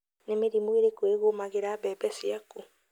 Nĩ mĩrimũ ĩrĩkũ ĩgũmagĩra mbembe ciaku?